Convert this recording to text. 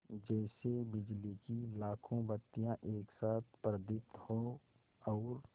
जैसे बिजली की लाखों बत्तियाँ एक साथ प्रदीप्त हों और